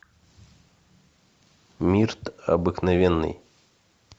мирт обыкновенный